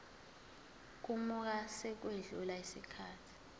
kamuva sekwedlule isikhathi